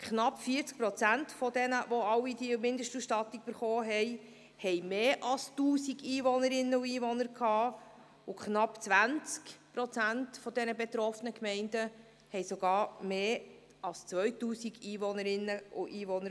Knapp 40 Prozent der Gemeinden, die eine Mindestausstattung erhalten hatten, hatten mehr als 1000 Einwohnerinnen und Einwohner, und knapp 20 Prozent der betroffenen Gemeinden hatten sogar mehr als 2000 Einwohnerinnen und Einwohner.